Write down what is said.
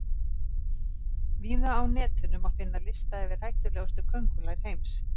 Víða á Netinu má finna lista yfir hættulegustu köngulær heims.